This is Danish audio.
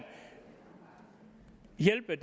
hjælpe